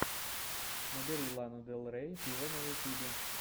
набери лану дель рей виво на ютубе